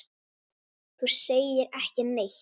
Þú segir ekki neitt.